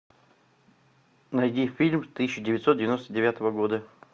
найди фильм тысяча девятьсот девяносто девятого года